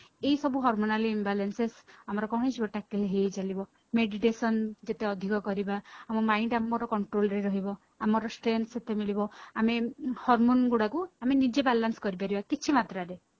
ଏଇ ସବୁ hormonal imbalances ଆମର କଣ ହେଇଯିବ tackle ହେଇ ହେଇ ଚାଲିବ meditation ଯେତେ ଆଧିକ କରିବା ଆମ mind ଆମର control ରେ ରହିବ ଆମର strength ସେତେ ମିଳିବ ଆମେ Harmon ଗୁଡାକୁ ଆମେ ନିଜେ balance କରି ପାରିବା କିଛି ମାତ୍ରାରେ